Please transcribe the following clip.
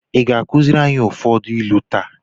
Ị ga-akụziri anyị ụfọdụ ilu taa?